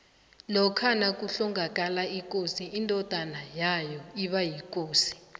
lokha nakuhlongakala ikosi indodona yayo iba yikosi